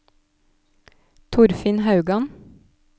Torfinn Haugan